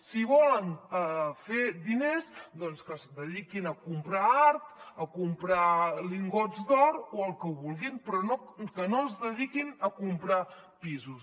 si volen fer diners doncs que es dediquin a comprar art a comprar lingots d’or o el que vulguin però que no es dediquin a comprar pisos